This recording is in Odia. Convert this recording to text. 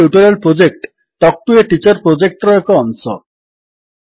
spoken tutorial project talk to a teacher ପ୍ରୋଜେକ୍ଟର ଏକ ଅଂଶ